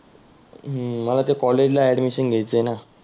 हम्म मला ते कॉलेजला अ‍ॅडमीसन घ्यायचं आहेना.